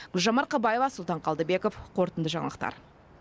гүлжан марқабаева сұлтан қалдыбеков қорытынды жаңалықтар